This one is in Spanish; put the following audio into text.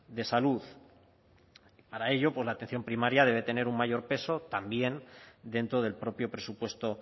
de salud para ello pues la atención primaria debe tener un mayor peso también dentro del propio presupuesto